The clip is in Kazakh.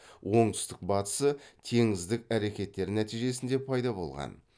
оңтүстік батысы теңіздік әрекетер нәтижесінде пайда болған